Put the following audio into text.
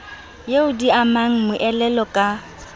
eo di amang moelolo ka